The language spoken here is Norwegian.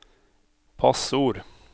passord